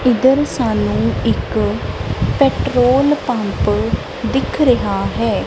ਇੱਧਰ ਸਾਨੂੰ ਇੱਕ ਪੈਟ੍ਰੋਲ ਪੰਪ ਦਿੱਖ ਰਿਹਾ ਹੈ।